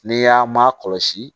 N'i y'a ma kɔlɔsi